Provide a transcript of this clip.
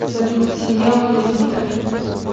салют семья уилла смита